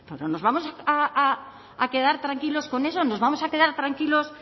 pero nos vamos a quedar tranquilos con eso nos vamos a quedar tranquilos